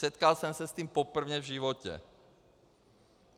Setkal jsem se s tím poprvé v životě.